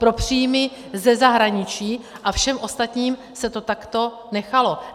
Pro příjmy ze zahraniční a všem ostatním se to takto nechalo.